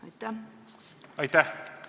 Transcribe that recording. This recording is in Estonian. Aitäh!